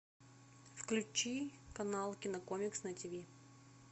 включи канал кинокомикс на тв